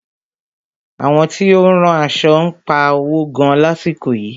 Àwọn tí ó ń rán aṣo ń pa owo gan lásìkò yìí.